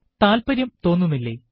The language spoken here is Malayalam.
താല്പര്യം തോന്നുന്നില്ലേ